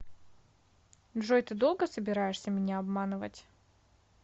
джой ты долго собираешься меня обманывать